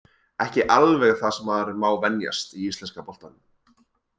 Ekki alveg það sem maður má venjast í íslenska boltanum.